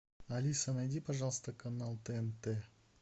алиса найди пожалуйста канал тнт